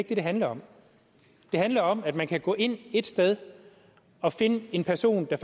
det det handler om det handler om at man kan gå ind ét sted og finde en person der